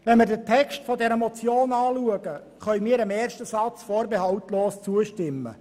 Wenn wir den Text dieser Motion betrachten, können wir dem ersten Satz vorbehaltlos zustimmen: